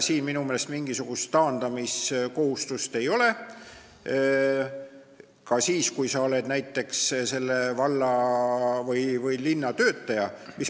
Siin minu meelest mingisugust taandamiskohustust ei ole, ka siis, kui sa oled näiteks selle valla või linna töötaja.